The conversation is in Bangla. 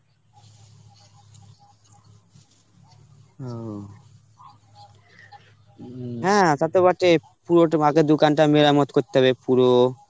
অঃ হ্যাঁ, তা তো বটে পুরো তোমাকে দোকানটা মেরামত করতে হবে পুরো